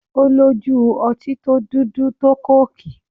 Ó lójú ọtí tó dúdú tó kóòkì